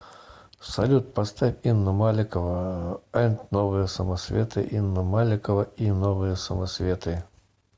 салют поставь инна маликова энд новые самоцветы инна маликова и новые самоцветы